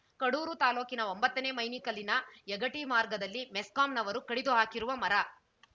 ಕಡೂರು ತಾಲೂಕಿನ ಒಂಬತ್ತನೇ ಮೈನಿ ಕಲ್ಲಿನ ಯಗಟಿ ಮಾರ್ಗದಲ್ಲಿ ಮೆಸ್ಕಾಂನವರು ಕಡಿದು ಹಾಕಿರುವ ಮರ